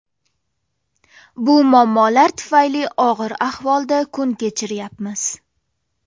Bu muammolar tufayli og‘ir ahvolda kun kechiryapmiz.